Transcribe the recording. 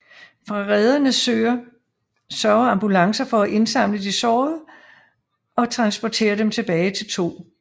Fra rederne sørger ambulancer for at indsamle de sårede og transportere dem tilbage til 2